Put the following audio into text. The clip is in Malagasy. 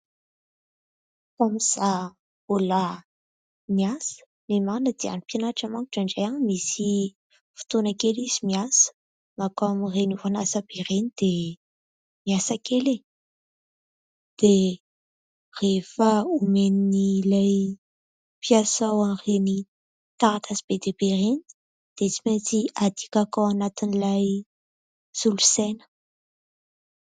Tamin'izaho mbola niasa, ny marina dia ny mpianatra mantsy indraindray misy fotoana kely izy miasa : mankao amin'ireny orinasa be ireny dia miasa kely e. Dia rehefa omen'ilay mpiasa ao an'ireny taratasy be dia be ireny dia tsy maintsy adikako ao anatin'ilay solosaina.